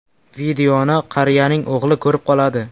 Videoni qariyaning o‘g‘li ko‘rib qoladi.